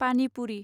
पानि पुरि